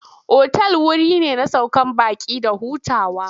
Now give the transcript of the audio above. Otal wuri ne na sauke baƙi da hutawa.